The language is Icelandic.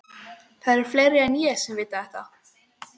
Það eru fleiri en ég sem vita þetta.